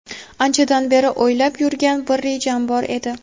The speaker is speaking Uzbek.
Anchadan beri o‘ylab yurgan bir rejam bor edi.